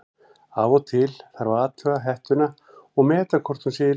Af og til þarf að athuga hettuna og meta hvort hún sé í lagi.